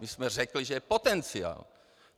My jsme řekli, že je potenciál.